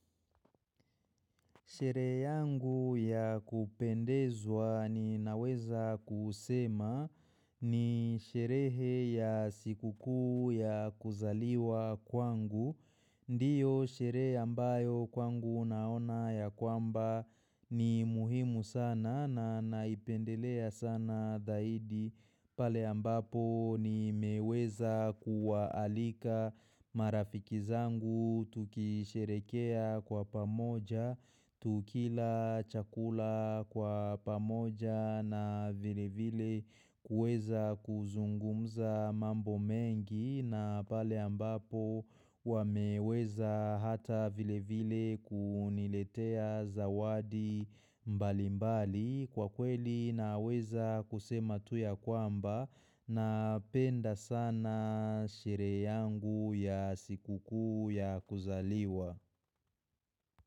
Shere yangu ya kupendezwa ni naweza kusema ni sherehe ya sikuku ya kuzaliwa kwangu. Ndiyo shere ambayo kwangu naona ya kwamba ni muhimu sana na naipendelea sana dahidi pale ambapo ni meweza kuwaalika marafiki zangu tukisherekea kwa pamoja, Tukila chakula kwa pamoja na vile vile kuweza kuzungumza mambo mengi na pale ambapo wameweza hata vile vile kuniletea zawadi mbali mbali kwa kweli na weza kusema tu ya kwamba na penda sana sherehe yangu ya sikuku ya kuzaliwa.